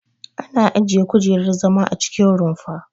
Ana ajiye kujerar zama a cikin rumfa.